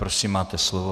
Prosím, máte slovo.